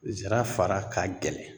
Zira fara ka gɛlɛn